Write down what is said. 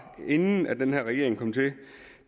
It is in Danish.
på inden den her regering kom til